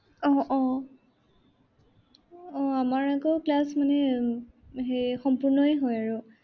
আহ আহ আমাৰ আকৌ class মানে উম সম্পূৰ্ণই হয় আৰু।